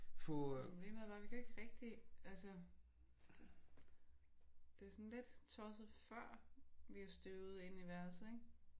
Problemet er bare vi kan jo ikke rigtig altså det er jo sådan lidt tosset før vi har støvet inde i værelset ik?